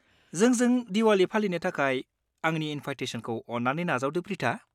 जोंजों दिवाली फालिनो थाखाय आंनि इनभाइटेसनखौ अन्नानै नाजावदो, प्रिथा।